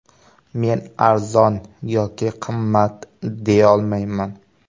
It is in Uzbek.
Men arzon yoki qimmat deyolmayman.